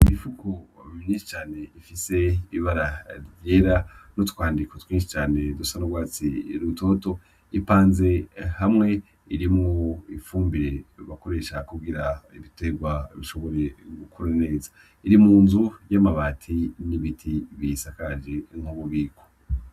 Imifuko myinshi cane ifise ibara ryera nutwandiko twinshi dusa n'urwatsi rutoto, ipanze hamwe irimwo ifumbire bakoresha kugira ibitegwa bishobore gukura neza iri munzu y'amabati n'ibiti biyisakaje nk'ububiko.